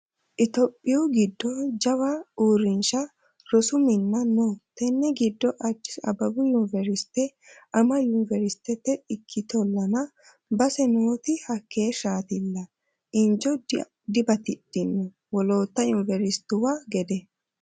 Itophiyu giddo jawa uurrinsha rosu minna no tene giddo Addis Abbebu yuniveriste ama yuniveristete ikkittollanna base nooti hakeeshshatilla injo dibatidhino wolootta yuniveristuwa gede.